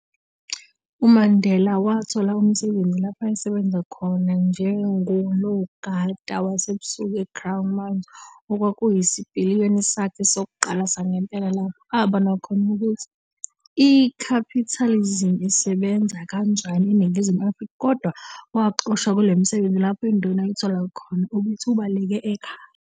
UMandela wathola umsebenzi lapho ayesebenza khona njengonogaba wasebusuku eCrown Mines, okwakuyisipiliyoni sakhe sokuqala sangempela lapho abona khona ukuthi ikhapitalizimu isesbenza kanjani eNingizimu Afrika, kodwa waxoshwa kulowo msebenzi lapho induna ithola ukuthi ubeleke ekhaya.